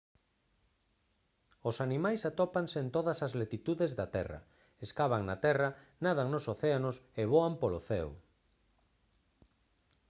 os animais atópanse en todas as latitudes da terra escavan na terra nadan nos océanos e voan polo ceo